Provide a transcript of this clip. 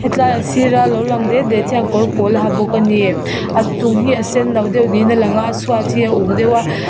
tlai a sira lo lang det det hian kawrpawl a ha bawk ani a chung hi a senno deuh niin alanga a chhuat hi a uk deuh a--